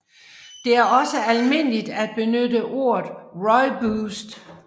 Det er også almindeligt at benytte ordet rooiboste